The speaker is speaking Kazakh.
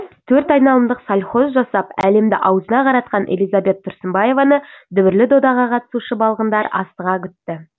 төрт айналымдық сальхов жасап әлемді аузына қаратқан элизабет тұрсынбаеваны дүбірлі додаға қатысушы балғындар асыға күтті